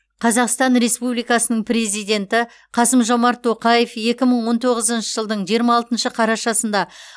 қазақстан республикасының президенті қасым жомарт тоқаев екі мың он тоғызыншы жылдың жиырма алтыншы қарашасында